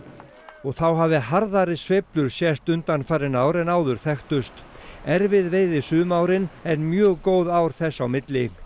og þá hafi harðari sveiflur sést undanfarin ár en áður þekktust erfið veiði sum árin en mjög góð ár þess á milli